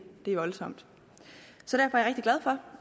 er voldsomt derfor